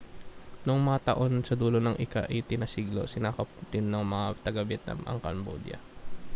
noong mga taon sa dulo ng ika-18 na siglo sinakop din ng mga taga-vietnam ang cambodia